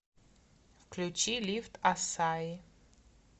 включи лифт ассаи